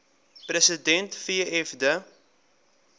president fw de